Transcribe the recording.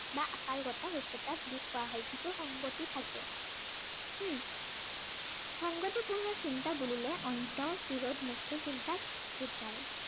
বা আকাৰগত সত্য়তা বুলি কোৱা হয়। যিটোৰ সংগতি থাকে। হম সংগতিপূৰ্ণ চিন্তা বুলিলে অৰ্ন্ত বিৰোধ মুক্ত চিন্তাক বুজায়।